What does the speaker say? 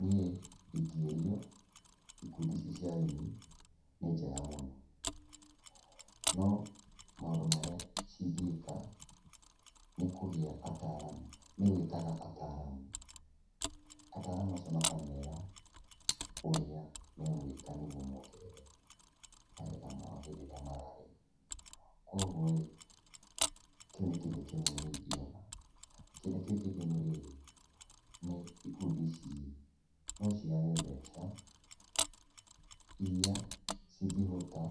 Niĩ ingĩũriũ, ikundi ici cia arĩmi nĩ njega mũno, no, maũndũ marĩa cingĩka nĩkũgia ataaramu nĩgwĩtaga ataaramu. Ataaramu acio makamera ũrĩa megwĩka nĩguo mongerere magetha mao hĩndĩ ĩrĩa mararĩma. Kuoguo-ĩ, kĩu nĩ kĩndũ kĩmwe niĩ ingĩona. Kĩndũ kĩu kĩngĩ nĩ rĩrĩ, ikundi ici-rĩ no cigage mbeca iria cingĩhota